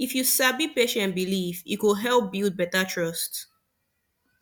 if you sabi patient belief e go help build better trust